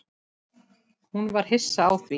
Hún var hissa á því.